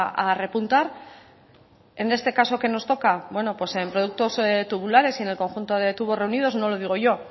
a repuntar en este caso que nos toca bueno pues en productos tubulares y en el conjunto de tubos reunidos no lo digo yo